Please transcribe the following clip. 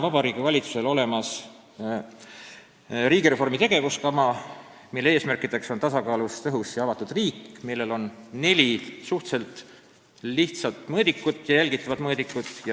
Vabariigi Valitsusel on olemas riigireformi tegevuskava, mille eesmärk on tasakaalus, tõhus ja avatud riik, millel on neli suhteliselt lihtsat ja jälgitavat mõõdikut.